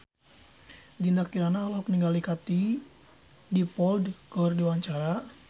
Dinda Kirana olohok ningali Katie Dippold keur diwawancara